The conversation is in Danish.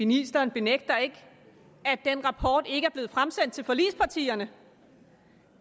ministeren benægter ikke at den rapport ikke er blevet fremsendt til forligspartierne